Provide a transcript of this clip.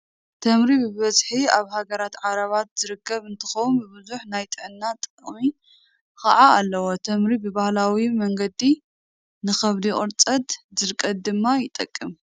ተምሪ ብበዝሒ ኣብ ሃገራት ዓዕራብ ዝርከብ እንትኸውን ብዙሕ ናይ ጥዕና ጥቅሚ ከዓ ኣለዎ። ተምሪ ብባህላዊ መንገዲ ንከብዲ ቁርፀትን ድርቀትን ድማ ይጠቅም።